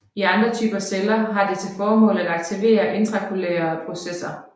I andre typer celler har det til formål at aktivere intracellulære processer